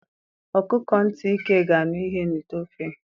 Ọkụkọ ntị ike ga-anụ ya n'ite ofe.